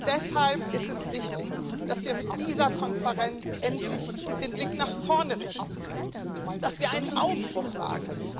Deshalb ist es wichtig, dass wir mit dieser Konferenz endlich den Blick nach vorne richten, dass wir einen Aufbruch wagen.